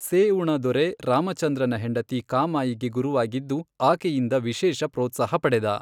ಸೇಉಣ ದೊರೆ ರಾಮಚಂದ್ರನ ಹೆಂಡತಿ ಕಾಮಾಯಿಗೆ ಗುರುವಾಗಿದ್ದು ಆಕೆಯಿಂದ ವಿಶೇಷ ಪ್ರೋತ್ಸಾಹ ಪಡೆದ.